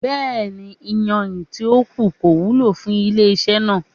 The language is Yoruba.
Bẹẹni, iyanrin ti o ku ko wulo fun ile-iṣẹ naa